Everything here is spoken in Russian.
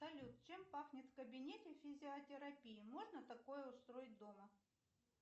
салют чем пахнет в кабинете физиотерапии можно такое устроить дома